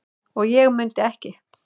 og ég mundi ekki.